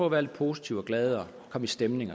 at være lidt positiv og glad komme i stemning